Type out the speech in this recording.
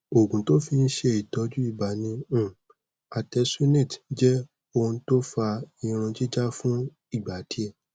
oogun to fin se itoju iba ni um artesunate je ounto fa irun jija fun igba die